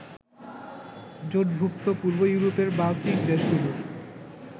জোটভুক্ত পূর্ব ইউরোপের বাল্টিক দেশগুলোর